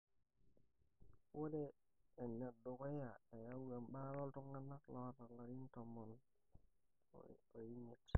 ninye enedukuya eyau ebaata oltunganak loota ilarin tomon ile omiet.